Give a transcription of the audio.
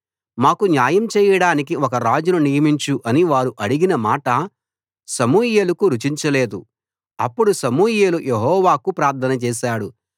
మాకు న్యాయం చేయడానికి ఒక రాజును నియమించు అని వారు అడిగిన మాట సమూయేలుకు రుచించలేదు అప్పుడు సమూయేలు యెహోవాకు ప్రార్థన చేశాడు